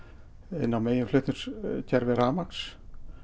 inn á meginflutningskerfi rafmagns